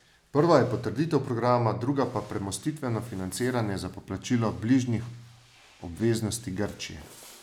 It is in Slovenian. Prva je potrditev programa, druga pa premostitveno financiranje za poplačilo bližnjih obveznosti Grčije.